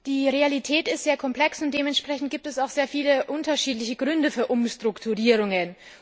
Die Realität ist sehr komplex, und dementsprechend gibt es auch sehr viele unterschiedliche Gründe für Umstrukturierungen.